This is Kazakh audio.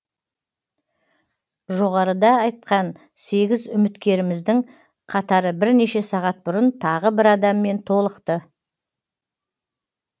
жоғарыда айтқан сегіз үміткеріміздің қатары бірнеше сағат бұрын тағы бір адаммен толықты